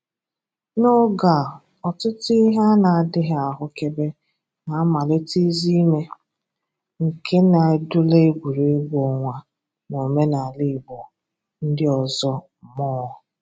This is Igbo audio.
N'oge a, ọtụtụ ihe a na-adịghị ahụkebe na-amalite izìme nke na-edụla egwuregwu ọnwa na omenala Igbo ndị ọzọ mmụọ